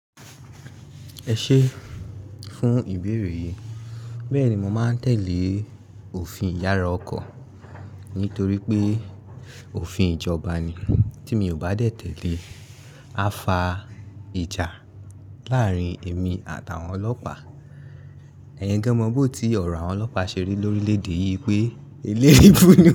Ẹ ṣé fún ìbéèrè yìí. Bẹ́ẹ̀ni, mo máa ń tẹ̀lé òfin ìyára ọkọ̀ nítorí pé òfin ìjọba ni. Tí mi ò bá dẹ tẹ̀lé, á fa ìjà láàárín èmi àtàwọn ọlọ́pàá. Ẹyin gan mọ bó ti ọ̀rọ̀ àwọn ọlọ́pàá ṣe rí lórí lédè yìí pé eléribú ni.